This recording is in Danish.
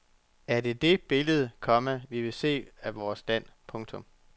Er det det billede, komma vi vil se af vores land. punktum